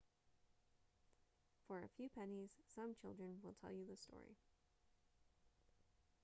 for a few pennies some children will tell you the story